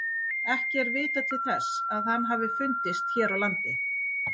Ekki er vitað til þess að hann hafi fundist hér á landi.